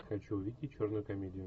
хочу увидеть черную комедию